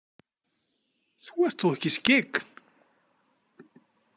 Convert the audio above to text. Þú ert þó ekki skyggn?